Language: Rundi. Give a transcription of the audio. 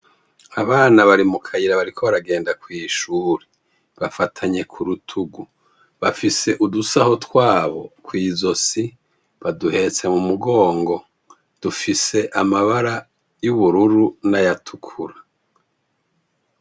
Abana bari mu kayira bariko baragenda kw'ishuri. Bafatanye ku rutugu bafise udusaho twabo kw'izosi baduhetse mu mugongo dufise amabara y'ubururu n'ayatukura.